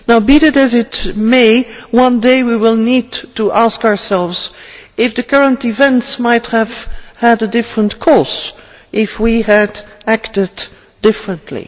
Be that as it may, one day we will need to ask ourselves if the current events might have had a different course had we acted differently.